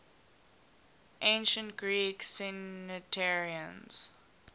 ancient greek centenarians